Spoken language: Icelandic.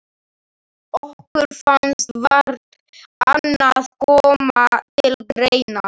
Okkur fannst vart annað koma til greina.